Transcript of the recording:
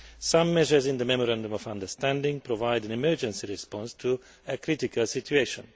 Some measures in the Memorandum of Understanding provide an emergency response to a critical situation.